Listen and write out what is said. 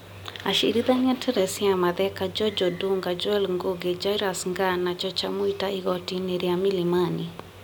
Acirithania Teresia Matheka, George Odunga, Joel Ngũgi, Jairus Ngaah na Chacha Mwita igoti-nĩ rĩa milimani ,